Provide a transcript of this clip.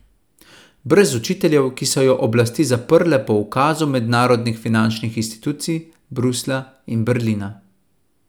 Brez učiteljev, ki so jo oblasti zaprle po ukazu mednarodnih finančnih institucij, Bruslja in Berlina.